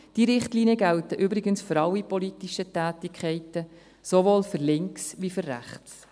Diese Richtlinien gelten übrigens für alle politischen Tätigkeiten, sowohl für links wie für rechts.